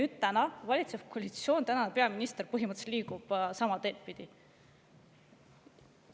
Nüüd liiguvad meie valitsev koalitsioon ja peaminister põhimõtteliselt sama teed pidi.